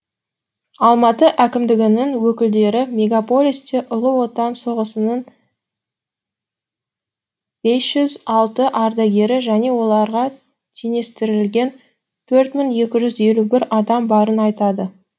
алматы әкімдігінің өкілдері мегаполисте ұлы отан соғысының бес жүз алты ардагері және оларға теңестірілген төрт мың екі жүз елу бір адам барын айтады